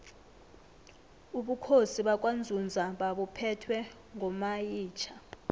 ubukhosi bakwanzunza babuphetwe ngomayitjha